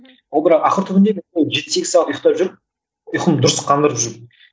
ал бірақ ақыл түбінде жеті сегіз сағат ұйқтап жүріп ұйқымды дұрыс қандырып жүріп